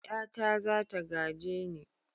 Ƴata za ta gaje ni.